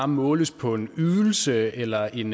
måles på en ydelse eller en